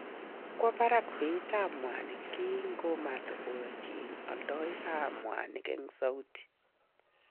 Kokwo barak beitab mwanik kikomotokoyochin oldoik kap mwanik eng Saudia